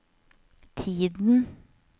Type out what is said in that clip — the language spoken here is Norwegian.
tiden